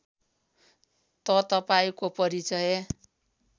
त तपाईँको परिचय